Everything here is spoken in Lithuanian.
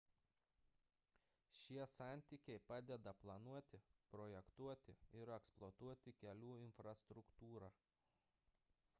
šie santykiai padeda planuoti projektuoti ir eksploatuoti kelių infrastruktūrą